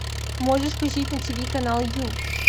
можешь включить на тв канал ю